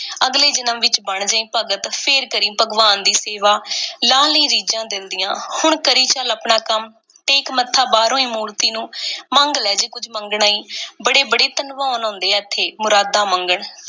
ਅਗਲੇ ਜਨਮ ਵਿੱਚ ਬਣ ਜਾਈਂ ਭਗਤ, ਫੇਰ ਕਰੀਂ ਭਗਵਾਨ ਦੀ ਸੇਵਾ, ਲਾਹ ਲਈਂ ਰੀਝਾਂ ਦਿਲ ਦੀਆਂ। ਹੁਣ ਕਰੀ ਚੱਲ ਆਪਣਾ ਕੰਮ। ਟੇਕ ਮੱਥਾ ਬਾਹਰੋਂ ਈ ਮੂਰਤੀ ਨੂੰ। ਮੰਗ ਲੈ ਜੇ ਕੁੱਝ ਮੰਗਣਾ ਈ। ਬੜੇ-ਬੜੇ ਧਨਵਾਨ ਆਉਂਦੇ ਇੱਥੇ, ਮੁਰਾਦਾਂ ਮੰਗਣ।